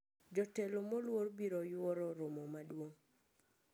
Jotelo moluor biro yuoro romo maduong`